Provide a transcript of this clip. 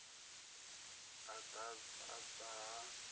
ha u ḓ adzwa ha